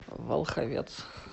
волховец